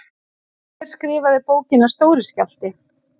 Hver skrifaði bókina Stóri skjálfti?